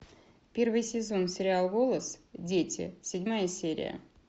первый сезон сериал голос дети седьмая серия